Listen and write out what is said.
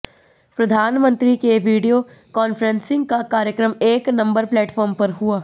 प्रधानमंत्री के video conferencing का कार्यक्रम एक नंबर प्लेटफॉर्म पर हुआ